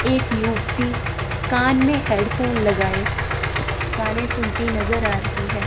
एक युक्ति कान में हेडफोन लगाए गाने सुनती नजर आ रही है।